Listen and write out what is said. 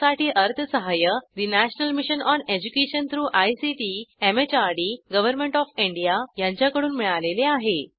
यासाठी अर्थसहाय्य national mission on education through ICT MHRD government of India यांच्याकडून मिळालेले आहे